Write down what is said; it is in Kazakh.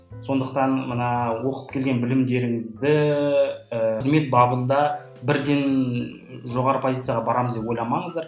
сондықтан мына оқып келген білімдеріңізді і қызмет бабында бірден жоғары позицияға барамыз деп ойламаңыздар